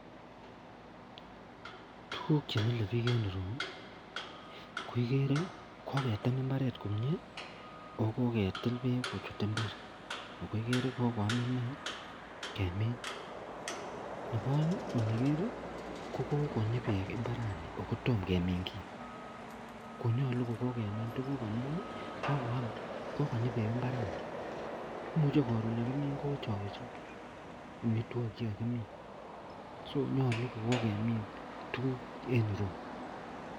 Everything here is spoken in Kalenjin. Tuguk chemile bik en ireyu koigere kokoketem imbaret komie akokoketil bek kochut imbar akoigere kokoyam inei kemin ak nebo aeng kokonyi bek imbaranikotomo kemin gii akonyalu kokokemin tuguk amun kokonyi bek imbaraniton imuche koron yekimin kowechowechok amitwagik chekakimin so nyalu kokokemin tuguk en ireyu